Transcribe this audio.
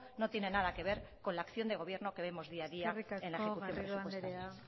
no tienen nada que ver con la acción de gobierno que vemos día a día en la ejecución presupuestaria eskerrik asko garrido andrea